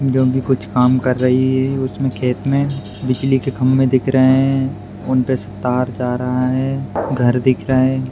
जो कि कुछ काम कर रही है उसमें खेत में बिजली के खंभे दिख रहे है उन पे से तार जा रहा है घर दिख रहे --